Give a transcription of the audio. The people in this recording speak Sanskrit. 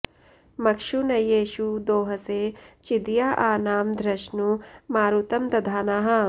मक्षू न येषु दोहसे चिदया आ नाम धृष्णु मारुतं दधानाः